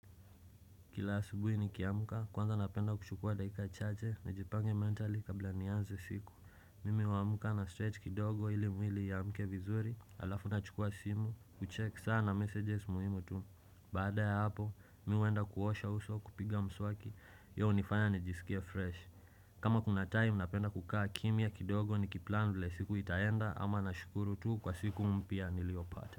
Kila asubuhi nikiamka kwanza napenda kuchukua dakika chache nijipange mentali kabla nianze siku Mimi huamka na stretch kidogo ili mwili ya iamke vizuri Alafu nachukua simu kucheck saa na messages muhimu tu Baada ya hapo mimi huenda kuosha uso kupiga mswaki yeye hunifanya nijisikie fresh kama kuna time napenda kukaa kimya kidogo ni kiplan vile siku itaenda ama nashukuru tu kwa siku mpya niliyopata.